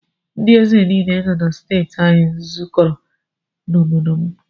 Ndị ézè nile nọ na steeti anyị zụkọrọ na obodo m.